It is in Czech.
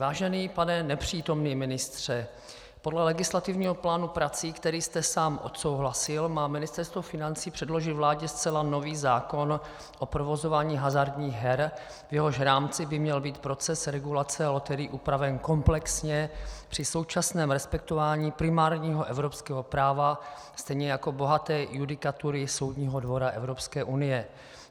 Vážený pane nepřítomný ministře, podle legislativního plánu prací, který jste sám odsouhlasil, má Ministerstvo financí předložit vládě zcela nový zákon o provozování hazardních her, v jehož rámci by měl být proces regulace loterií upraven komplexně při současném respektování primárního evropského práva, stejně jako bohaté judikatury Soudního dvora Evropské unie.